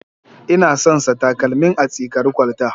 Ina son sa takalmin a tsikari kwalta.